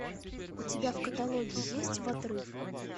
у тебя в каталоге есть в отрыв